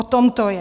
O tom to je.